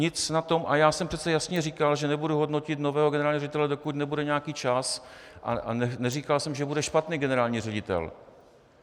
Nic na tom, a já jsem přece jasně říkal, že nebudu hodnotit nového generálního ředitele, dokud nebude nějaký čas, a neříkal jsem, že bude špatný generální ředitel.